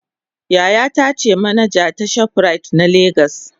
yayata ce manaja ta shoprite na Lagos.